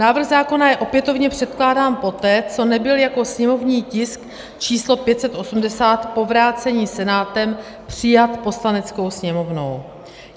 Návrh zákona je opětovně předkládán poté, co nebyl jako sněmovní tisk číslo 580 po vrácení Senátem přijat Poslaneckou sněmovnou.